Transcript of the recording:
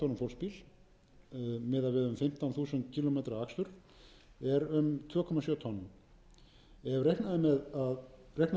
fimmtán þúsund kílómetra akstur er um tvö komma sjö tonn sé reiknað með að